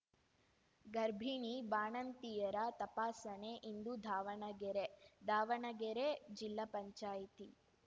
ಗರ್ಭಿಣಿ ಬಾಣಂತಿಯರ ತಪಾಸಣೆ ಇಂದು ದಾವಣಗೆರೆ ದಾವಣಗೆರೆ ಜಿಲ್ಲಾ ಪಂಚಾಯ್ತಿ